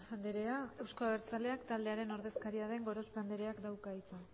andrea euzko abertzaleak taldearen ordezkaria den gorospe andreak dauka hitza